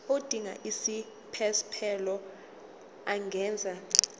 odinga isiphesphelo angenza